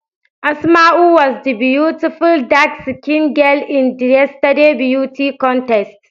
Asmau was the beautiful dark skinned girl in the yesterday's beauty contest.